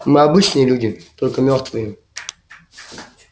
мы обычные люди только мёртвые